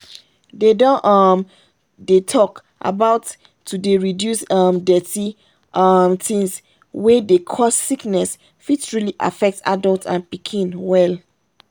they don um dey talk about to dey reduce um dirty um things wey dey cause sickness fit truly affect adult and pikin well